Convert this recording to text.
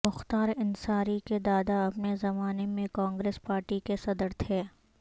مختار انصاری کے دادا اپنے زمانے میں کانگریس پارٹی کے صدر تھے